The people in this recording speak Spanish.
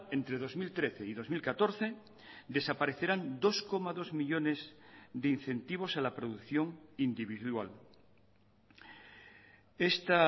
entre dos mil trece y dos mil catorce desaparecerán dos coma dos millónes de incentivos a la producción individual esta